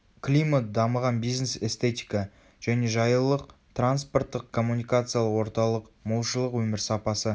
климат дамыған бизнес эстетика және жайлылық транспорттық-коммуникациялық орталық молшылық өмір сапасы